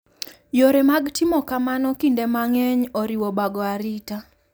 Yore mag timo kamano kinde mang’eny oriwo bago arita.